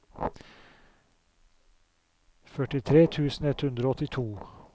førtitre tusen ett hundre og åttito